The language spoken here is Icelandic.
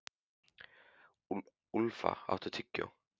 Úlfa, áttu tyggjó?